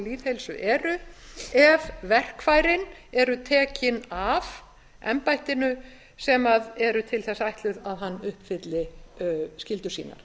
lýðheilsu eru ef verkfærin eru tekin af embættinu sem eru til þess ætluð að hann uppfylli skyldur sínar